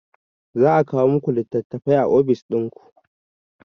Za a kawo muku litattafai a ofis dinku